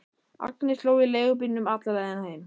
Agnes hló í leigubílnum alla leiðina heim.